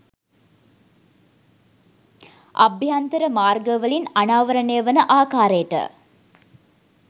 අභ්‍යන්තර මාර්ගවලින් අනාවරණය වන ආකාරයට